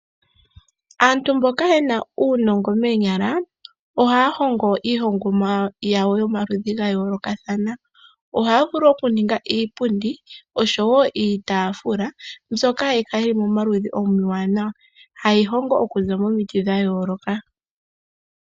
Aantu moka yena uunongo moonyala, ohaya hongo iihongomwa yawo yomaludhi ga yoolokathana. Ohaya vulu oku ninga iipundi oshowo itaafula mbyoka hayi kala yili mo maludhi omawanawa, haye yi hongo, okuza momiti dha yooloka.